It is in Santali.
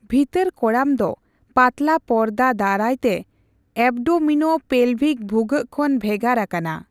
ᱵᱷᱤᱛᱟᱹᱨ ᱠᱚᱲᱟᱢ ᱫᱚ ᱯᱟᱛᱞᱟ ᱯᱚᱨᱫᱟ ᱫᱟᱨᱟᱭ ᱛᱮ ᱮᱵᱽᱰᱳᱢᱤᱱᱳᱯᱮᱞᱵᱷᱤᱠ ᱵᱷᱩᱜᱟᱹᱜ ᱠᱷᱚᱱ ᱵᱷᱮᱜᱟᱨ ᱟᱠᱟᱱᱟ ᱾